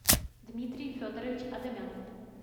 дмитрий федорович адамян